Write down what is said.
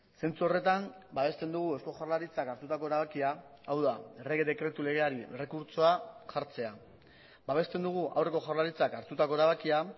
zentzu horretan babesten dugu eusko jaurlaritzak hartutako erabakia hau da errege dekretu legeari errekurtsoa jartzea babesten dugu aurreko jaurlaritzak hartutako erabakia